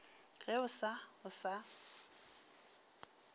ge o sa o sa